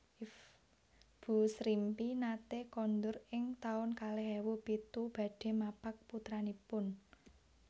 Bu Srimpi nate kondur ing taun kalih ewu pitu badhe mapak putranipun